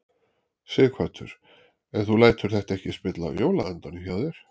Sighvatur: En þú lætur þetta ekki spilla jólaandanum hjá þér?